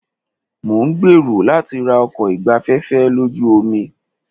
Mo ń gbèrò láti ra ọkọ̀ ìgbafẹ́fẹ́ lójú omi.